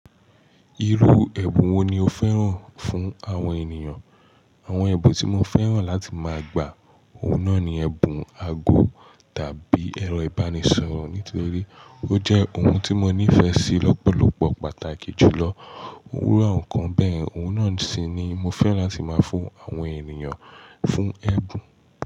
Irú ẹ̀bùn wo ni o fẹ́ràn fún àwọn ènìyàn? Àwọn ẹ̀bùn tí mo fẹ́ràn láti máa gba, òun náà ni ẹ̀bùn ago tàbí ẹ̀rọ ìbánisọ̀rọ̀. Nítorí ó jẹ́ ohun tí mo nífẹ̀ẹ́ sí lọ́pọ̀lọpọ̀ pàtàkì jù lọ. Iru awon nkan. Bẹ́yen, òun náà sì ni mo fẹ́ràn láti máa fún àwọn ènìyàn fún ẹ̀bùn.